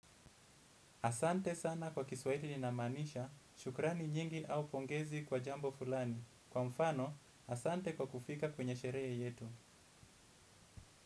Asante sana kwa kiswahili linamaanisha, shukrani nyingi au pongezi kwa jambo fulani. Kwa mfano, asante kwa kufika kwenye sherehe yetu.